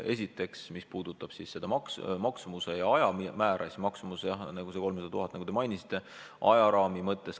Esiteks, mis puudutab süsteemi maksumust ja väljatöötamise aega, siis maksumus on 300 000 eurot, nagu teiegi mainisite.